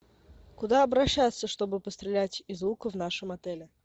куда обращаться чтобы пострелять из лука в нашем отеле